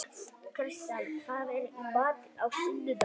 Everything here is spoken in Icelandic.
Kristján, hvað er í matinn á sunnudaginn?